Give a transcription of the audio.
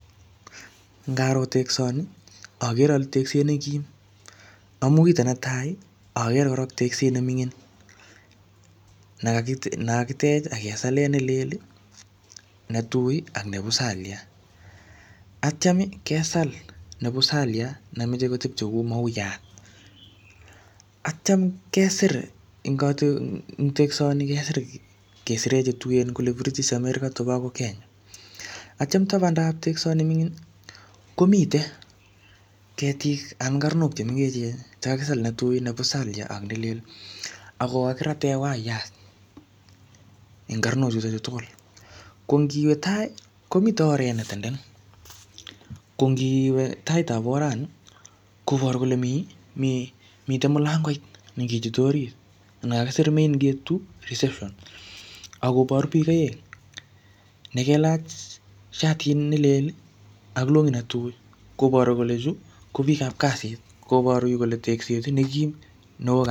Ngaroo teksoni agere ale tekset ne kim. Amu kitonetai agere tekset nemingin. Nekakitech ak kesalen nelel, netui ak nebusaliat, akityan kesal nebusaliat nemoche kotepche ku mauyat, aktyan kesir eng teksoni kesir kesire chetuen kule kirigistanen chebako Kenya. Akityan tabandab teksoni mingin komite ketiik ak karnok che mengechen che kakisal netui ne busaliat ak nelel ago kakiraten waiyat eng karnochuto tugul. Ko ngiwe tai komite oret ne tenden. Ko ngiwe taitab orani koparu kole mi, mite mulangoit nekechute orit ne kakisir main gate2 reception akobaru biik aeng ne kelach shatit nelel ak longit netui. Kobaru kole chu ko biikab kasit, kobaru kole yu kotekset nekim.